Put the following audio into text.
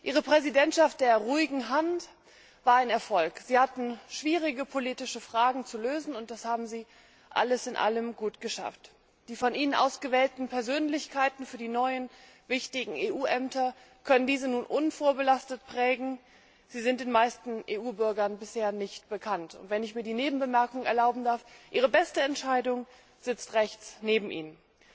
Herr Präsident, verehrte Herren Präsidenten! Ihre Präsidentschaft der ruhigen Hand war ein Erfolg. Sie hatten schwierige politische Fragen zu lösen, und das haben Sie alles in allem gut geschafft. Die von Ihnen ausgewählten Persönlichkeiten für die neuen wichtigen EU Ämter können diese nun unvorbelastet prägen, sie sind den meisten EU Bürgern bisher nicht bekannt. Wenn ich mir die Nebenbemerkung erlauben darf Ihre beste Entscheidung sitzt rechts neben Ihnen.